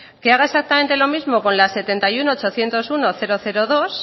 que haga exactamente lo mismo con la setenta y uno millónes ochocientos uno mil dos